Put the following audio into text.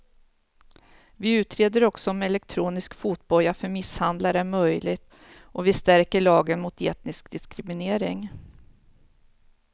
Vi utreder också om elektronisk fotboja för misshandlare är möjligt och vi stärker lagen mot etnisk diskriminering.